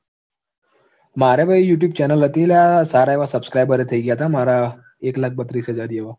મારય બી youtube channel હતી લા સારા એવા subscriber એ થઇ ગયા તા મારા એક લાખ બત્રીસ હજાર જેવા